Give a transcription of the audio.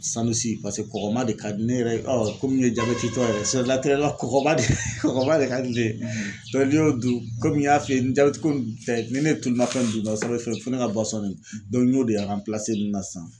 paseke kɔgɔman de ka di ne yɛrɛ ye komi ye jabɛtitɔ yɛrɛ kɔgɔman de kɔkɔman de ka di ne ye n'i y'o dun komi n y'a f'i ye ni jabɛtiko nin kun tɛ ni ne ye tuluma fɛn dun dɔrɔn fo ne ka de min n y'o de ninnu na sisan